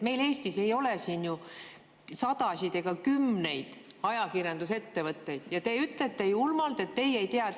Meil Eestis ei ole ju sadasid ega kümneid ajakirjandusettevõtteid, aga te ütlete julmalt, et teie ei tea.